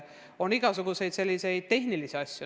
On igasuguseid selliseid tehnilisi probleeme.